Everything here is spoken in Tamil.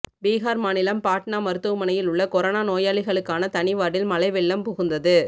பிகார் மாநிலம் பாட்னா மருத்துவமனையில் உ்ள்ள கொரோனா நோயாளிகளுக்கான தனி வார்டில் மழை வெள்ளம் புகுந்தது